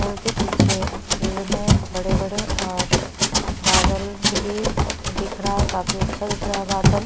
--ल के पीछे पेड़ है बड़े-बड़े ओर बादल भी दिख रहा है काफी अच्छा दिख रहा है बादल--